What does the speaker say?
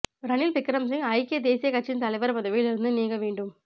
ரணில் விக்ரமசிங்க ஐக்கிய தேசியக் கட்சியின் தலைவர் பதவியில் இருந்து நீங்க வேண்டும்